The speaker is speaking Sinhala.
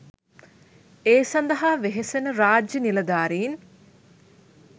ඒ සඳහා වෙහෙසෙන රාජ්‍ය නිලධාරීන්